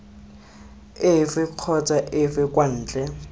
efe kgotsa efe kwa ntle